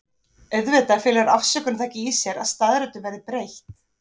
Auðvitað felur afsökun það ekki í sér að staðreyndum verði breytt.